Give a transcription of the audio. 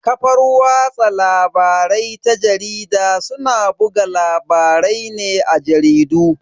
Kafar watsa labarai ta jarida suna buga labarai ne a jaridu.